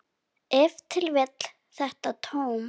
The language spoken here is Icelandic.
Ef til vill þetta tóm.